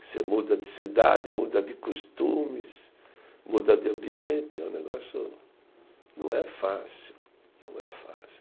Você muda de cidade, muda de costumes, muda de ambiente, é um negócio, não é fácil, não é fácil.